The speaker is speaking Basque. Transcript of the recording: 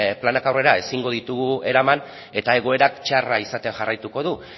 planak aurrera ezin ditugu eraman eta egoerak txarra izaten jarraituko du